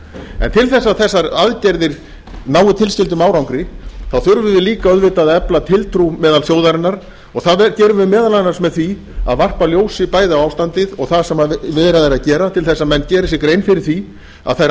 en til að þessar aðgerðir nái tilskildum árangri þurfum við líka auðvitað að efla tiltrú meðal þjóðarinnar og það gerum við meðal annars með því að varpa ljósi bæði á ástandið og það sem verið er að gera til að menn geri sér grein fyrir því að þær